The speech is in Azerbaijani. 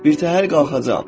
Birtəhər qalxacam.